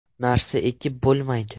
Narsa ekib bo‘lmaydi.